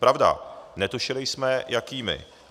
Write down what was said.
Pravda, netušili jsme, jakými.